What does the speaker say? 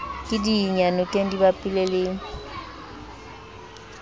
ke diyanokeng di bapile le